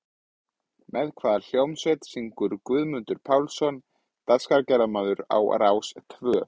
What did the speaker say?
Raunar eru til tvær aðrar samsætur vetnis sem nefnast tvívetni og þrívetni.